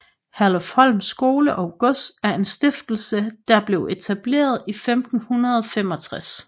Herlufsholm Skole og Gods er en stiftelse der blev etableret i 1565